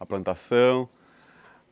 A plantação.